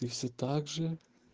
и все также